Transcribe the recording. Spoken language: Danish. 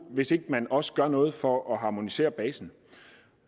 hvis ikke man også gør noget for at harmonisere basen